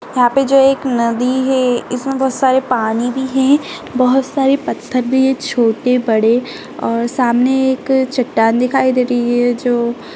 यहाँ पे जो एक नदी है इसमें बहोत सारे पानी भी हैं। बहोत सारे पत्थर भी हैं छोटे बड़े और सामने एक चट्टान दिखाई दे रही है जो --